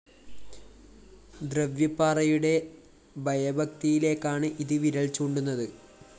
ദ്രവ്യപ്പാറയുടെ ഭയഭക്തിയിലേക്കാണ് അത് വിരല്‍ ചൂണ്ടുന്നത്